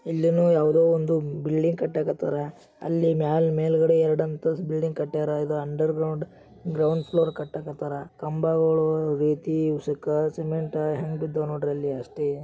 ಇಲ್ಲಿನೋ ಯಾವ್ದೋ ಒಂದು ಬಿಲ್ಡಿಂಗ್ ಕಟ್ಟಕತಾರ ಅಲ್ಲಿ ಮ್ಯಾಲ್-ಮೇಲ್ಗಡೆ ಎರಡಂತಸ್ತು ಬಿಲ್ಡಿಂಗ್ ಕಟ್ಟ್ಯಾರ ಇದು ಅಂಡರ್ಗ್ರೌಂಡ್ ಗ್ರೌಂಡ್ ಫ್ಲೋರ್ ಕಟ್ಟಕತಾರ. ಕಂಬಗಳು ರೀತಿ ಉಸಕ್ಕ ಸಿಮೆಂಟ ಹೆಂಗ್ ಬಿದ್ದವ ನೋಡ್ರಿ ಅಲ್ಲಿ ಅಷ್ಟಿ.